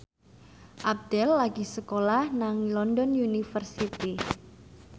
Abdel lagi sekolah nang London University